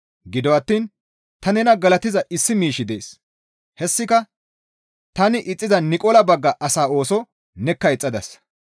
Gido attiin ta nena galatiza issi miishshi dees; hessika tani ixxiza Niqola bagga asaa ooso nekka ixxadasa.